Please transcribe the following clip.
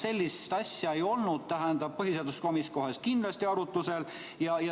Sellist asja ei olnud põhiseaduskomisjonis kohe kindlasti arutlusel.